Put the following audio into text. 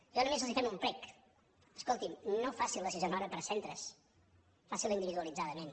nosaltres només els fem un prec escolti’m no facin la sisena hora per centres facin la individualitzadament